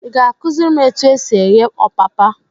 Ị ga akụziri m étù ésì éghé ọpapa?